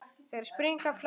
Þeir springa af hlátri.